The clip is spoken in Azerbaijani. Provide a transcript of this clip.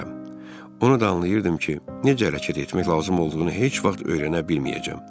Onu da anlayırdım ki, necə hərəkət etmək lazım olduğunu heç vaxt öyrənə bilməyəcəm.